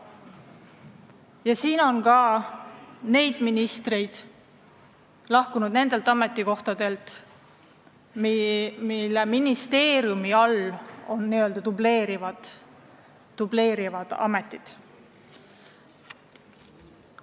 Oma ametikohalt on lahkunud ka ministrid, kes on olnud n-ö dubleerivas ametis.